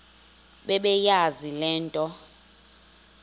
bebeyazi le nto